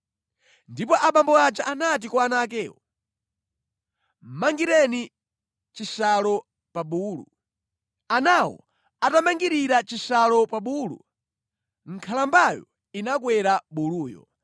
Ndipo abambo aja anati kwa ana akewo, “Mangireni chishalo pa bulu.” Anawo atamangirira chishalo pa bulu, nkhalambayo inakwera buluyo